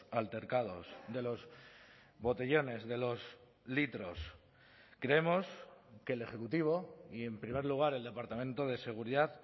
altercados de los botellones de los litros creemos que el ejecutivo y en primer lugar el departamento de seguridad